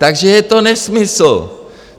Takže je to nesmysl!